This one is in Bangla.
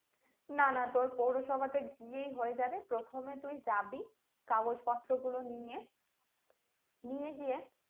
না না তোর পৌরসভাতে গিয়েই হয়ে যাবে প্রথমে তুই যাবি কাগজ পত্র গুলো নিয়ে নিয়ে গিয়ে